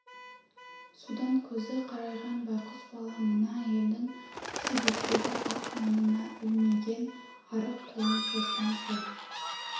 содан көзі қарайған байғұс бала мына әйелдің себеттегі ақ нанына ілмиген арық қолын созған ғой